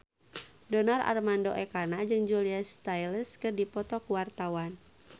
Donar Armando Ekana jeung Julia Stiles keur dipoto ku wartawan